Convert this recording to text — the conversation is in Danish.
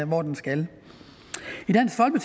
hvor den skal